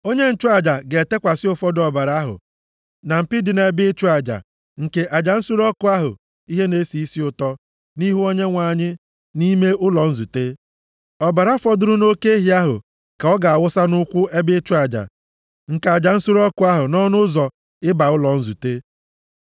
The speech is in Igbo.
Onye nchụaja ga-etekwasị ụfọdụ ọbara ahụ na mpi dị nʼebe ịchụ aja nke aja nsure ọkụ ihe na-esi isi ụtọ, nʼihu Onyenwe anyị nʼime ụlọ nzute. Ọbara fọdụrụ nʼoke ehi ahụ ka ọ ga-awụsa nʼụkwụ ebe ịchụ aja nke aja nsure ọkụ ahụ, nʼọnụ ụzọ ịba ụlọ nzute.